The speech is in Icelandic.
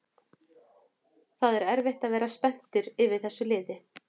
Það er erfitt að vera spenntur yfir þessu liði